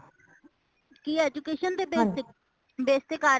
ਕੀ education ਤੇ base ਤੇ base ਤੇ ਕਰ ਰਹੇਹਾਂ